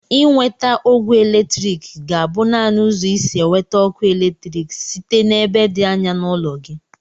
Inweta ogwe eletrik ga-abụ naanị ụzọ isi eweta ọkụ eletrik site n'ebe dị anya n'ụlọ gị.